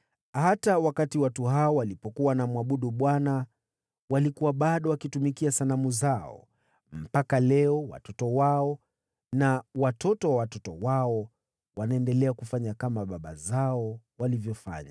Hata wakati watu hawa walipokuwa wanamwabudu Bwana , walikuwa bado wakitumikia sanamu zao. Mpaka leo watoto wao na watoto wa watoto wao wanaendelea kufanya kama baba zao walivyofanya.